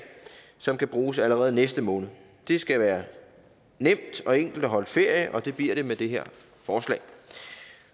som kan bruges allerede næste måned det skal være nemt og enkelt at holde ferie og det bliver det med det her forslag